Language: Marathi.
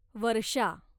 वर्षा